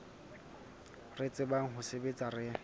re tsebang ho sebetsa re